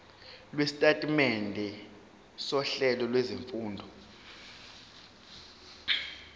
lwesitatimende sohlelo lwezifundo